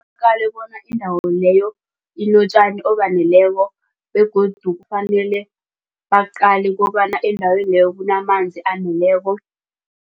bona indawo leyo inotjani obaneleko begodu kufanele baqale kobana endaweni leyo kunamanzi aneleko.